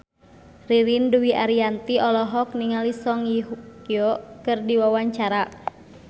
Ririn Dwi Ariyanti olohok ningali Song Hye Kyo keur diwawancara